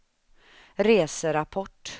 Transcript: reserapport